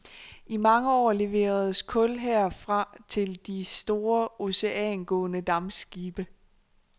I mange år leveredes kul her fra til de store oceangående dampskibe.